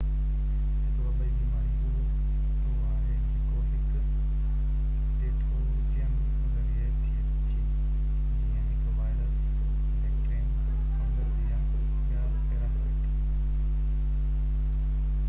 هڪ وبائي بيماري اهو آهي جيڪو هڪ پيٿوجين ذريعي ٿئي ٿي جيئن هڪ وائرس بيڪٽيريم فنگس يا ٻيا پيراسائيٽ